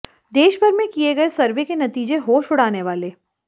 देश भर में किए गए सर्वे के नतीजे होश उड़ाने वाले